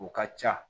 O ka ca